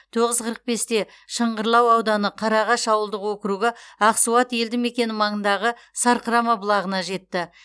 тоғыз қырық бесте шыңғырлау ауданы қарағаш ауылдық округі ақсуат елді мекені маңындағы сарқырама бұлағына жетті